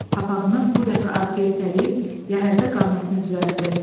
Papağını bu dəfə arxaya itələyib, yəhərdə qamətini düzəltdi.